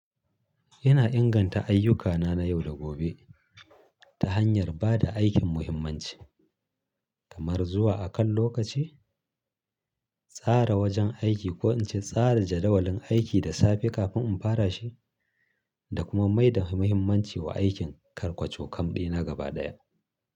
Ina inganta ayyukana na yau da gobe, ta hanyar ba da aikin muhimmanci, kamar zuwa a kan lokaci, tsara wajen aiki, ko in ce tsara jadawalin aiki da safe kafin in fara shi, da kuma mai da muhimmanci wa aikin karƙwaco-kam ɗina gaba daya.